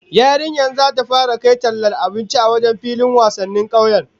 Yarinyar zata fara kai tallar abinci a wajen filin wasannin kauyen